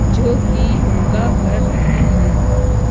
जो की योगा कर रहे हैं।